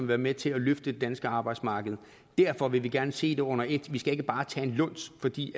være med til at løfte det danske arbejdsmarked derfor vil vi gerne se det under et vi skal ikke bare tage en luns fordi